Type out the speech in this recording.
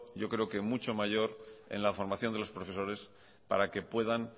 yo creo que mucho mayor en la formación de los profesores para que puedan